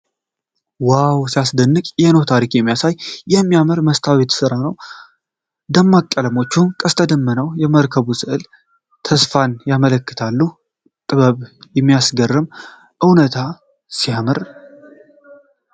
ዋው ሲያስደንቅ! የኖኅን ታሪክ የሚያሳይ የሚያምር የመስታወት ሥዕል ነው። ደማቅ ቀለሞቹ፣ ቀስተ ደመናውና የመርከቡ ሥዕል ተስፋን ያመለክታሉ። ጥበቡ ሲያስገርም! በእውነት ሲያምር!